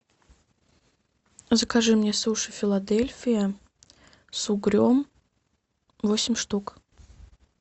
закажи мне суши филадельфия с угрем восемь штук